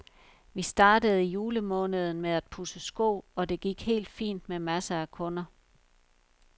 Vi startede i julemåneden med at pudse sko, og det gik helt fint med masser af kunder.